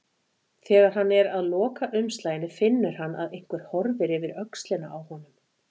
Þegar hann er að loka umslaginu finnur hann að einhver horfir yfir öxlina á honum.